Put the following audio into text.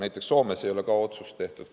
Näiteks Soomes ei ole ka seda otsust tehtud.